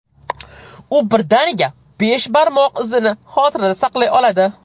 U birdaniga besh barmoq izini xotirada saqlay oladi.